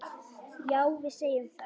Já, við segjum það.